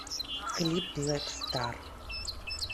клип блэк стар